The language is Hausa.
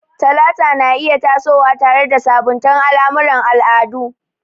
Talata na iya tasowa tare da sabunta al'amuran al'adu.